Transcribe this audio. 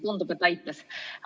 Tundub, et aitas.